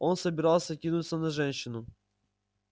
он собирался кинуться на женщину